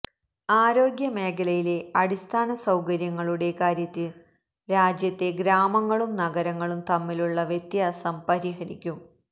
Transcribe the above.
ആരോഗ്യ മേഖലയിലെ അടിസ്ഥാന സൌകര്യങ്ങളുടെ കാര്യത്തിൽ രാജ്യത്തെ ഗ്രാമങ്ങളും നഗരങ്ങളും തമ്മിലുള്ള വ്യാത്യാസം പരിഹരിക്കും